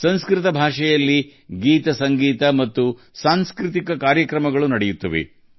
ಸಂಸ್ಕೃತ ಭಾಷೆಯಲ್ಲಿ ಹಾಡುಗಳು ಸಂಗೀತ ಮತ್ತು ಸಾಂಸ್ಕೃತಿಕ ಕಾರ್ಯಕ್ರಮಗಳನ್ನು ಅದು ಒಳಗೊಂಡಿದೆ